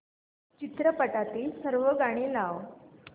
चित्रपटातील सर्व गाणी लाव